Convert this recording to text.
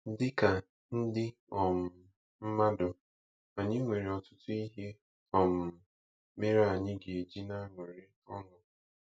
Dị ka ndị um mmadụ, anyị nwere ọtụtụ ihe um mere anyị ga-eji na-aṅụrị ọṅụ.